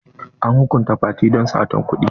An hukunta fati don sata kuɗi?